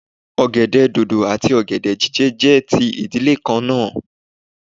Ogèdè dòdò àti ogèdè jije jẹ́ ti ìdílé kan náà